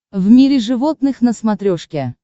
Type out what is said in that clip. в мире животных на смотрешке